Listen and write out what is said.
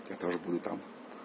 я тоже буду там